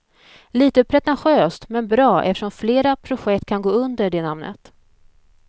Lite pretentiöst men bra eftersom flera projekt kan gå under det namnet.